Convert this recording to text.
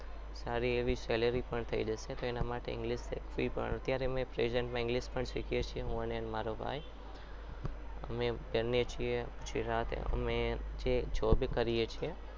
સારી એવી salary પણ થઈ જશે એના માટે english શીખવી પણ અત્યારે અમે present પણ english શીખીએ છીએ હું અને મારો ભાઈ અમે બંને છીએ જે સાથે job એ કરીએ છીએ